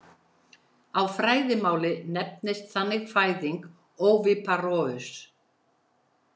Á fræðimáli nefnist þannig fæðing oviparous.